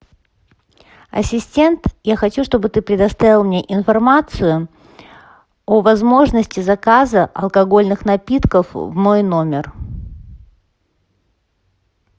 ассистент я хочу чтобы ты предоставил мне информацию о возможности заказа алкогольных напитков в мой номер